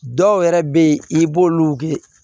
Dɔw yɛrɛ bɛ yen i b'olu wuli